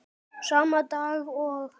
Sama dag og